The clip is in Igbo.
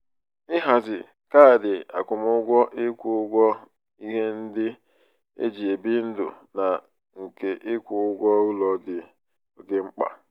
ịhazi kaadị akwụmụgwọ ịkwụ ụgwọ ihe ndị um eji ebi ndụ na nke ịkwụ ụgwọ ụlọ dị um oké um mkpa.